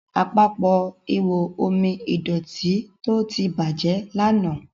Àpapọ̀ ihò omi ìdọ̀tító tí bàjé lànà.